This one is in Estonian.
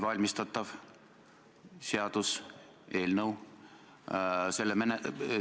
Täpsustav küsimus, Jüri Jaanson, palun!